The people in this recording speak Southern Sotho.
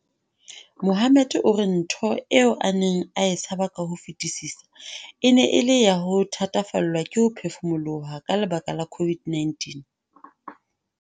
Mohammed o re ntho eo a neng a e tshaba ka ho fetisisa e ne e le ya ho thatafallwa ke ho phefumoloha ka lebaka la COVID-19.